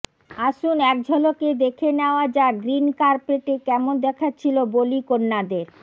আসুন একঝলকে দেখে নেওয়া যাক গ্রীন কার্পেটে কেমন দেখাচ্ছিল বলি কন্যাদের